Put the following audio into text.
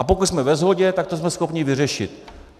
A pokud jsme ve shodě, tak to jsme schopni vyřešit.